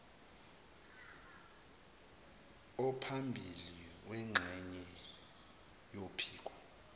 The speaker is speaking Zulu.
ophambili wengxenye yophiko